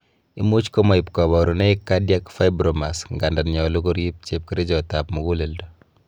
Imuch komoib koborunoik Cardiac fibromas, ngandan nyolu korib chepkerichotab muguleldo.